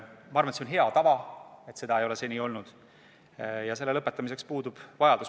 Ma arvan, et on hea tava, et seda pole seni tehtud, ja selle lõpetamiseks puudub vajadus.